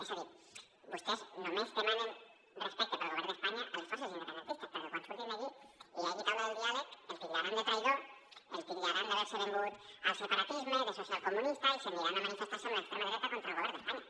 és a dir vostès només demanen respecte pel govern d’espanya a les forces independentistes perquè quan surtin d’aquí i hi hagi taula de diàleg el titllaran de traïdor el titllaran d’haver·se venut al separatisme de socialco·munista i se n’aniran a manifestar·se amb l’extrema dreta contra el govern d’espa·nya